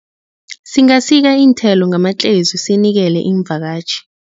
Singasika iinthelo ngamatlezu sinikele iimvakatjhi.